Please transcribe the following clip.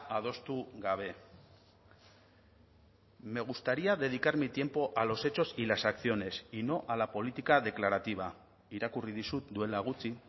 adostu gabe me gustaría dedicar mi tiempo a los hechos y las acciones y no a la política declarativa irakurri dizut duela gutxi